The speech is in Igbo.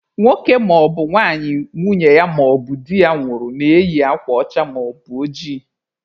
Nwoke maọbụ nwanyị nwunye ya maọbụ di ya nwụrụ na-eyi akwa ọcha maọbụ ojii.